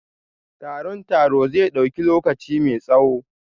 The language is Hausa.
Taron taro zai dauki lokaci mai tsawo?